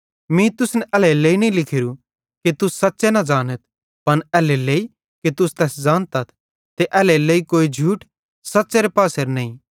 मीं तुसन एल्हेरेलेइ नईं लिखोरू कि तुस सच़्च़े न ज़ानथ पन एल्हेरेलेइ कि तैस ज़ानतथ ते एल्हेरेलेइ कोई झूठ सच़्च़ेरे पासेरां नईं